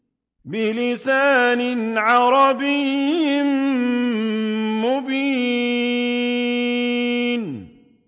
بِلِسَانٍ عَرَبِيٍّ مُّبِينٍ